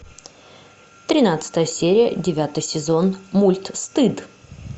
тринадцатая серия девятый сезон мульт стыд